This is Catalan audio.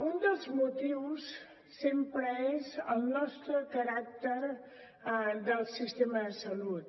un dels motius sempre és el nostre caràcter del sistema de salut